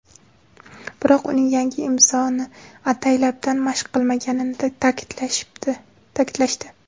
Biroq, uning yangi imzoni ataylabdan mashq qilmaganini ta’kidlashdi.